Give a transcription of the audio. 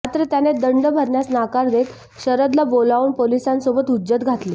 मात्र त्याने दंड भरण्यास नकार देत शरदला बोलावून पोलिसांसोबत हुज्जत घातली